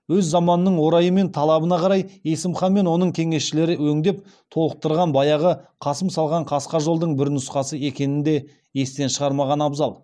өз заманының орайы мен талабына қарай есім хан мен оның кеңесшілері өңдеп толықтырған баяғы қасым салған қасқа жолдың бір нұсқасы екенін де естен шығармаған абзал